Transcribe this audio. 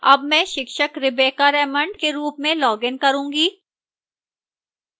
अब मैं शिक्षक rebecca raymond के रूप में login करूंगी